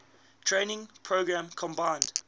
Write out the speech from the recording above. training program combined